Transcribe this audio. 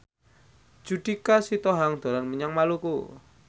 Judika Sitohang dolan menyang Maluku